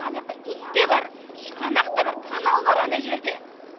анаяақта ит те бар шұқанақ та бар канал бар ана жерде